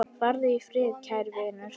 Farðu í friði, kæri vinur.